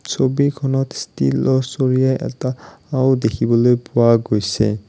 ছবিখনত ষ্টিলৰ চৰিয়া এটা আও দেখিবলৈ পোৱা গৈছে।